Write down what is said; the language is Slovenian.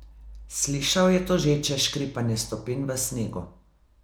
Slišal je tožeče škripanje stopinj v snegu.